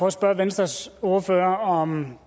at spørge venstres ordfører om